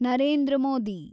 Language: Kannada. ನರೇಂದ್ರ ಮೋದಿ